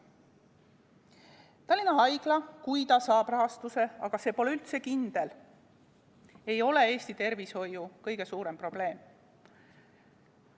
Tallinna Haigla, kui see saab rahastuse – aga see pole üldse kindel –, ei ole Eesti tervishoiu kõige suurem probleem.